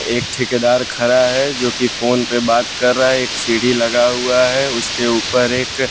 एक ठेकेदार खड़ा है जोकि फोन पर बात कर रहा है एक सीढ़ी लगा हुआ है उसके ऊपर एक --